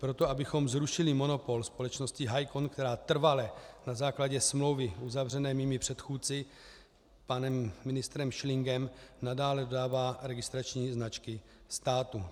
Proto, abychom zrušili monopol společnosti Hycon, která trvale na základě smlouvy uzavřené mými předchůdci, panem ministrem Schlingem, nadále dodává registrační značky státu.